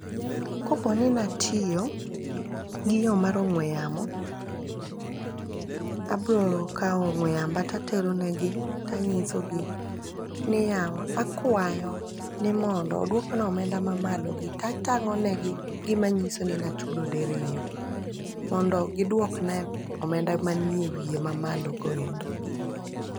Koponi natiyo gi yo mar ong'we yamo, abro kawo ong'we yamba tatero negi tanyisogi ni yawa, akwayo ni mondo odwokna omenda mamalogi tatang'o negi gimanyiso ni nachudo diriyo, mondo diwokna omenda manie wiye mamalogo endo.